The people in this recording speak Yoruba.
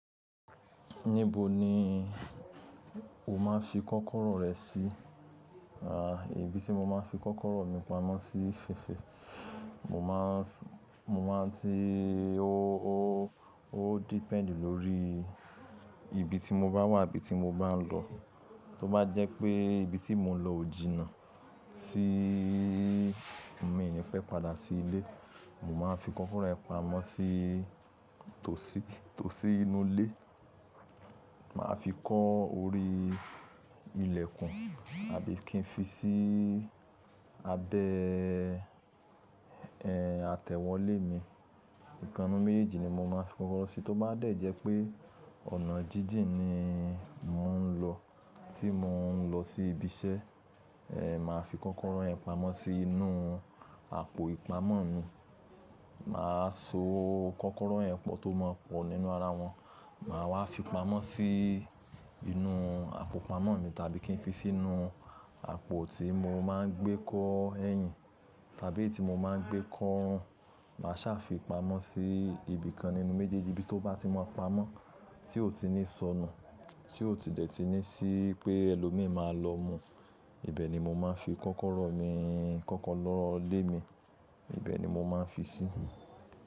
Níbo ni o máa ń fi kọ́kọ́rọ́ rẹ sí? À, ibi tí mo máa ń fi kọ́kọ́rọ́ mi pamọ́ sí ṣe ṣe, mo má ń, mo má ń ti ó, ó, ó depend lórí ibi tí mo bá wà, ibi tí mo bá ń lọ. Tó bá jẹ́ pé ibi tí mo ń lọ ò jìnnà, tí mi ni pẹ́ padà sí ilé, mo máa ń fi kọ́kọ́rọ́ rẹ̀ pamọ́ sí tòsí, tòsí inú ilé. Má a fi kọ́ orí ilẹ̀kùn àbí kí n fi sí abẹ́, ẹ́, atẹ̀wọ́ ilé mi. Ìkanu méjèèjì ni mo máa ń fi kọ́kọ́rọ́ sí. Tó bá dẹ̀ jẹ́ pé ọ̀nà jíjìn ni mò ń lọ, tí mo ń lọ sí ibi iṣẹ́, ẹ́, màá fi kọ́kọ́rọ́ rẹ̀ pamọ́ sí inú àpò ìpamọ́ mi. Mà á so kọ́kọ́rọ́ ẹ pọ̀ tó má pọ̀ nínú ara wọn. Mà á wá fi pamọ́ sí inú àpò pamọ́ mi tàbí kí n fi sínú àpò tí mo má ń gbé kó ẹyin tàbí tí mo má ń gbé kó orun. Mà sá fi pamọ́ sí ibi kan nínú méjèèjì ibi tó bá ti máa pamọ́ tí ò ti ní sọnù, tí ò ti dẹ̀ ti ní sí pé ẹlòmíì máa lọ mú. Ibẹ̀ ni mo máa ń fi kọ́kọ́rọ́ mi, kọ́kọ́rọ́ ilé mi, ibẹ̀ ni mo máa ń fi sí.